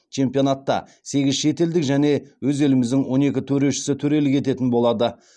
чемпионатта сегіз шетелдік және өз еліміздің он екі төрешісі төрелік ететін болады